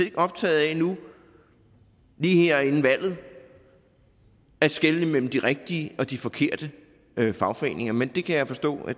ikke optaget af nu lige her inden valget at skelne mellem de rigtige og de forkerte fagforeninger men det kan jeg forstå